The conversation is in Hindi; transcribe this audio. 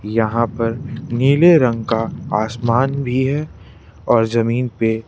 यहां पर नीले रंग का आसमान भी है और जमीन पे--